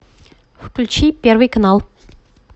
включи первый канал